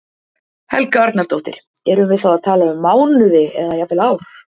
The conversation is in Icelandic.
Helga Arnardóttir: Erum við þá að tala um mánuði eða jafnvel ár?